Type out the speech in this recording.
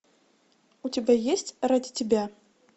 у тебя есть ради тебя